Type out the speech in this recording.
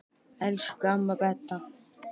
Elsku amma Beta.